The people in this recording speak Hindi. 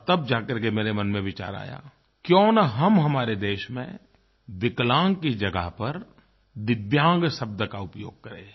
और तब जाकर के मेरे मन में विचार आया क्यों न हम हमारे देश में विकलांग की जगह पर दिव्यांग शब्द का उपयोग करें